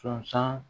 Sɔnsan